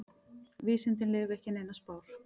Vísindin leyfi ekki neinar spár.